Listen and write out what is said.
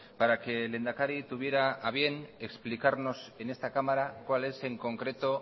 para que el lehendakari tuviera a bien explicarnos en esta cámara cuál es en concreto